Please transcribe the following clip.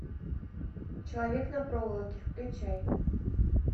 человек на проволоке включай